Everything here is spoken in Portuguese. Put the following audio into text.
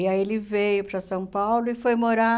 E aí ele veio para São Paulo e foi morar